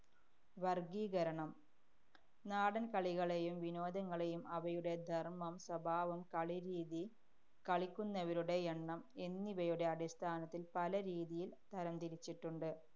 വര്‍ഗീകരണം. നാടന്‍കളികളെയും വിനോദങ്ങളെയും അവയുടെ ധര്‍മം, സ്വഭാവം, കളിരീതി, കളിക്കുന്നവരുടെ എണ്ണം എന്നിവയുടെ അടിസ്ഥാനത്തില്‍ പല രീതിയില്‍ തരംതരിച്ചിട്ടുണ്ട്.